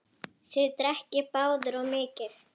Þið drekkið báðir of mikið.